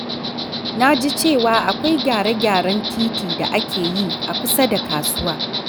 Na ji cewa akwai gyare-gyaren titi da ake yi a kusa da kasuwa.